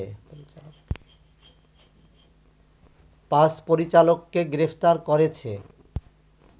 ৫ পরিচালককে গ্রেপ্তার করেছে